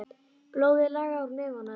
Blóðið lagaði úr nefinu á henni.